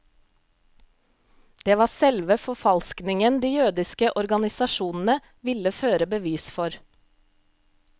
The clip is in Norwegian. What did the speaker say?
Det var selve forfalskningen de jødiske organisasjonene ville føre bevis for.